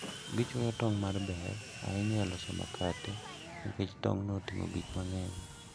Gichuoyo tong' ma ber ahinya e loso makate nikech tong'go oting'o gik mang'eny.